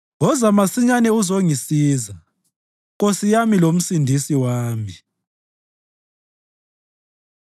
Woza masinyane uzongisiza, Nkosi yami loMsindisi wami.